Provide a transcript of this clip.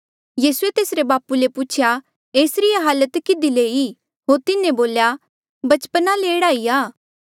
यीसूए तेसरे बापू ले पूछेया एसरी ये हालत कधी ले ई होर तिन्हें बोल्या बचपना ले एह्ड़ा ही आ